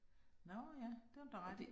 Nå ja, det har du da ret i